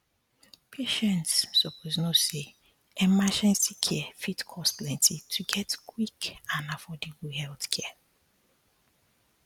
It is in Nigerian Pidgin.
patients suppose know say emergency care fit cost plenty to get quick and affordable healthcare